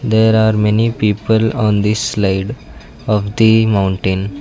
There are many people on the slide of the mountain.